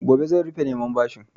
Gobe za a rufe neman bashin.